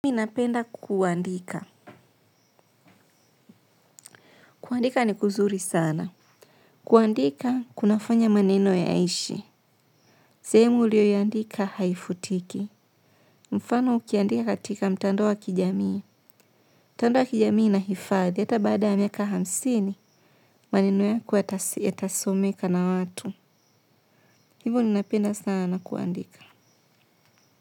Minapenda kuandika. Kuandika ni kuzuri sana. Kuandika, kunafanya maneno ya aishi. Zehemu uliyo yandika haifutiki. Mfano ukiandika katika mtandao wa kijamii. Mtandao wa kijamii na hifadhi. Yata baada ya miaka hamsini, maneno ya ko yatasomeka na watu. Hivo ninapenda sana kuandika.